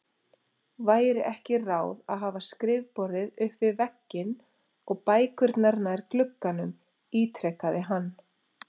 Væri ekki ráð að hafa skrifborðið upp við vegginn og bækurnar nær glugganum? ítrekaði hann.